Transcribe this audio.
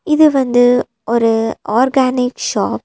இது வந்து ஒரு ஆர்கானிக் ஷாப் .